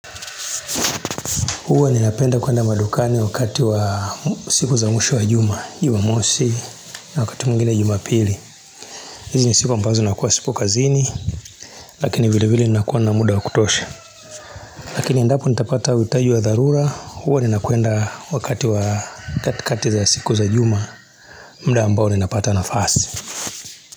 Huwa ninapenda kuenda madukani wakati wa siku za mwisho wa juma Jumamosi na wakati mwingine jumapili hizi ni siku ambazo nakuwa sipo kazini Lakini vile vile nakuwa na muda wa kutosha Lakini endapo nitapata uhitaji wa dharura huwa ninakwenda wakati wa kati za siku za juma muda ambao ninapata nafasi.